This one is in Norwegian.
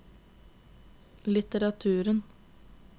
litteraturen